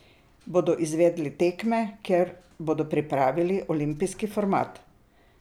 Bodo izvedli tekme, kjer bodo pripravili olimpijski format?